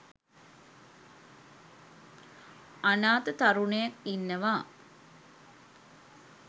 අනාථ තරුණයෙක් ඉන්නවා